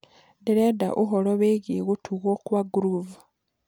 ndĩrendaũhoro wĩĩgĩe gutugwo kwa groove